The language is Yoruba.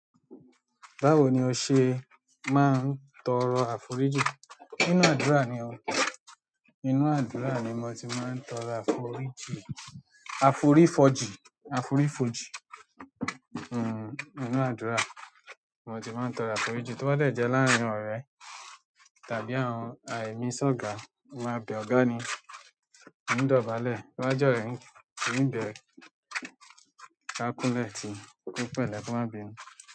Báwo ni o ṣe máa ń tọrọ àforíjì? Inú àdúrà ni o. Inú àdúrà ni mo tí máa ń tọrọ àforíjì. Aforifoji, aforifoji, hmm nínú àdúrà mo tí máa ń tọrọ àforíjì to bá dẹ jẹ láàárín ọ̀rẹ́ tàbí àwọn ah. Emí sọ̀ga, mo máa bẹ ọ̀gá ni, mo ń dọ̀bálẹ̀. Tó bá jorẹ̀ ń bẹ ẹ, dá kúnlẹ̀ tí kó pẹ́lẹ̀ ko má bínú.